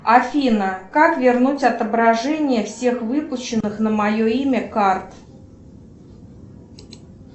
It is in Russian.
афина как вернуть отображение всех выпущенных на мое имя карт